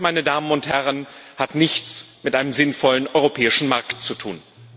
Das, meine Damen und Herren, hat nichts mit einem sinnvollen europäischen Markt zu tun.